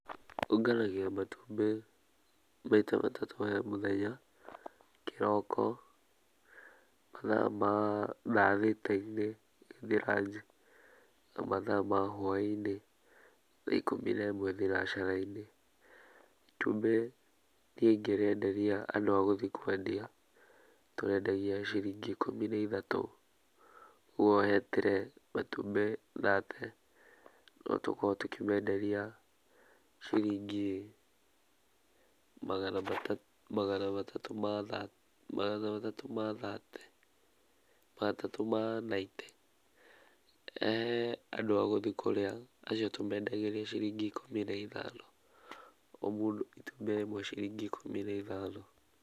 Ũnganagia matumbĩ maita matatũ he mũthenya, kĩroko, mathaa ma thaa thita-inĩ, tũgĩthi ranji, na mathaa ma hwainĩ, thaa ikũmi na ĩmwe thinacara-inĩ. Itumbi niĩngĩrienderia andũ a gũthiĩ kwendia tũrĩendagia ciringi ikũmi na ithatũ, koguo he turee matumbĩ thate no tũkorwo tũkimenderia ciringi magana matatũ ma thate, matatũ ma naite. Andũ a gũthi kũria acio tũmendagĩria ciringi ikũmi na ithano, o mũndũ itumbĩ rĩmwe ciringi ikũmi na ithano.